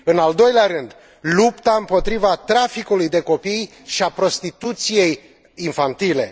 în al doilea rând, lupta împotriva traficului de copii și a prostituției infantile